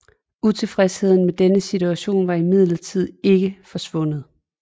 Utilfredsheden med denne situation var imidlertid ikke forsvundet